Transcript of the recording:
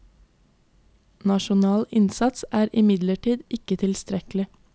Nasjonal innsats er imidlertid ikke tilstrekkelig.